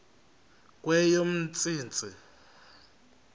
kweyomntsintsi